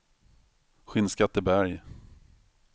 Skinnskatteberg